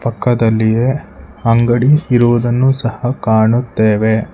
ಪಕ್ಕದಲ್ಲಿಯೆ ಅಂಗಡಿ ಇರುವುದನ್ನು ಸಹ ಕಾಣುತ್ತೆವೆ.